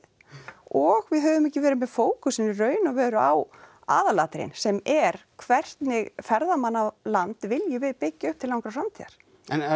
og við höfum ekki verið með fókusinn í raun og veru á aðalatriðin sem er hvernig ferðamannaland viljum við byggja upp til langrar framtíðar en er